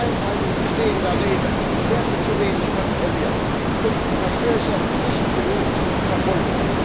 Die Einhaltung bestehender Regeln wird zu wenig kontrolliert, und Verstöße werden nicht genug verfolgt.